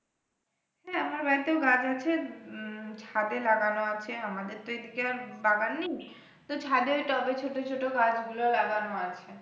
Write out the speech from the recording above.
হ্যাঁ আমার বাড়িতেও গাছ আছে, উম ছাদে লাগানো আছে আমাদের তো এদিকে আর বাগান নেই তো ছাদের টবে ছোট ছোট গাছগুলো লাগানো আছে।